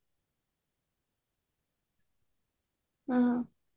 ହୁଁ